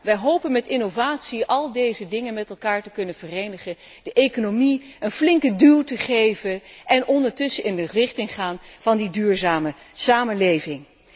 Wij hopen met innovatie al deze zaken met elkaar te kunnen verenigen, de economie een flinke duw te geven en ondertussen in de richting te gaan van die duurzame samenleving.